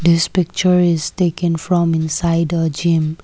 this picture is taken from inside a gym.